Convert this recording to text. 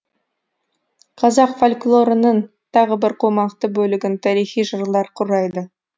қазақ фольклорының тағы бір қомақты бөлігін тарихи жырлар құрайды